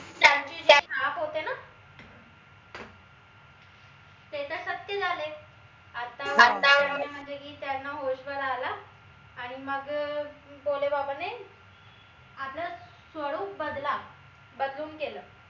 आता म्हनजे की त्यांना होश वर आल आणि मग अह भोले बाबाने आपला स्वरूप बदला बदलून केलं